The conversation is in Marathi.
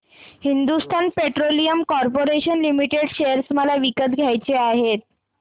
Hindustan petroleum corporation limited share मला विकत घ्यायचे आहेत